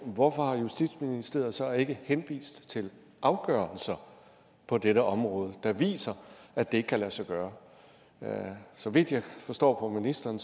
hvorfor justitsministeriet så ikke henvist til afgørelser på dette område der viser at det ikke kan lade sig gøre så vidt jeg forstår på ministeren